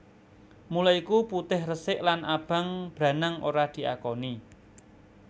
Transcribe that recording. Mula iku putih resik lan abang branang ora diakoni